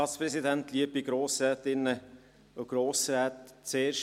Zuerst eine Information vorneweg: